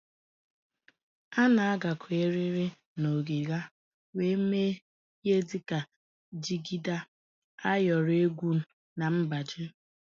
A na-agakọ eriri na ọgịga wee mee ihe dịka jigida, ayọrọ egwu na mgbaji.